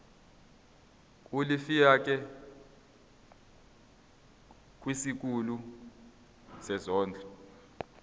ulifiakela kwisikulu sezondlo